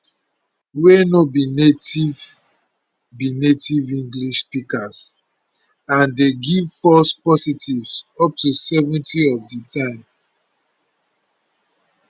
wey no be native be native english speakers and dey give false positives up to 70 of di time